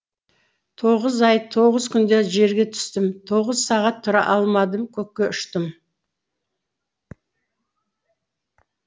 тоғыз ай тоғыз күнде жерге түстім тоғыз сағат тұра алмадым көкке ұштым